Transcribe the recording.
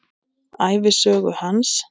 Ævisögu hans.